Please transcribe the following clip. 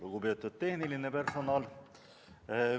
Lugupeetud tehniline personal!